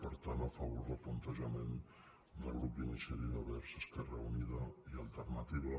per tant a favor del plantejament del grup d’iniciativa verds esquerra unida i alternativa